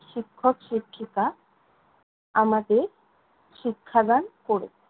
শিক্ষক-শিক্ষিকা আমাদের শিক্ষাদান করেছেন।